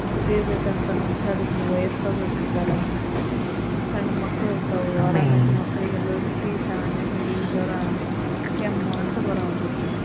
ದುಡಿಬೇಕಂತ ಮನಿಶ್ಯಾರ ಇದ್ರ ವಯ್ಯಸ್ಸಾದವರ ಇರ್ತಾರ ಸಣ್ಣ ಮಕ್ಳ ಇರ್ತವು ಅರಾಮಿದ್ದ ಮಕ್ಕಳಿಗೆಲ್ಲ ಶೀತ ನೆಗಡಿ ಜ್ವರಾ ಕೆಮ್ಮು ಅಂತ ಬರವುಂತೇತಿ.